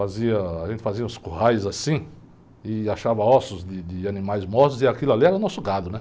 Fazia... A gente fazia uns currais assim e achava ossos de, de animais mortos e aquilo ali era o nosso gado, né?